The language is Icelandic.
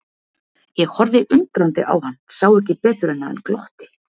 Ég horfði undrandi á hann, sá ekki betur en að hann glotti.